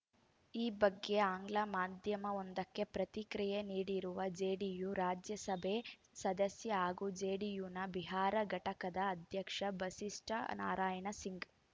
ಈ ಬಗ್ಗೆ ಆಂಗ್ಲ ಮಾಧ್ಯಮವೊಂದಕ್ಕೆ ಪ್ರತಿಕ್ರಿಯೆ ನೀಡಿರುವ ಜೆಡಿಯು ರಾಜ್ಯಸಭೆ ಸದಸ್ಯ ಹಾಗೂ ಜೆಡಿಯುನ ಬಿಹಾರ ಘಟಕದ ಅಧ್ಯಕ್ಷ ಬಸಿಸ್ಟಾನಾರಾಯಣ ಸಿಂಗ್‌